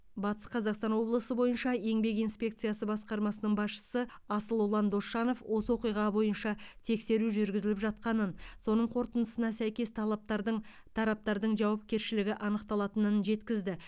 батыс қазақстан облысы бойынша еңбек инспекциясы басқармасының басшысы асылұлан досжанов осы оқиға бойынша тексеру жүргізіліп жатқанын соның қорытындысына сәйкес талаптардың тараптардың жауапкершілігі анықталатынын жеткізді